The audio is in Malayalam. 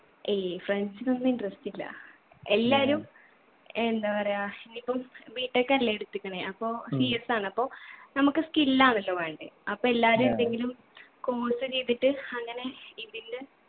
ഏയ് friends ഇനൊന്നും interest ഇല്ല. എല്ലാവരും എന്താ പറയാ ഇനി ഇപ്പം b. tech അല്ലെ എടുത്തിക്കിണ് അപ്പോ CS ആണ് അപ്പൊ നമ്മുക്ക് skill ആന്നല്ലോ വേണ്ടേ അപ്പൊ എല്ലാവരും എന്തെങ്കിലും course ചെയ്തിട്ട് അങ്ങനെ ഇതിൻ്റെ